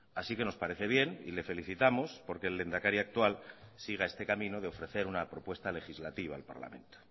así que nos parece bien y le felicitamos porque el lehendakari actual siga este camino de ofrecer una propuesta legislativa al parlamento